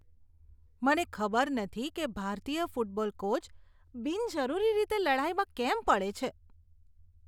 મને ખબર નથી કે ભારતીય ફૂટબોલ કોચ બિનજરૂરી રીતે લડાઈમાં કેમ પડે છે.